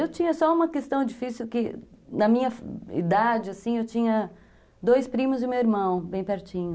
Eu tinha só uma questão difícil que, na minha idade, assim, eu tinha dois primos e meu irmão, bem pertinho.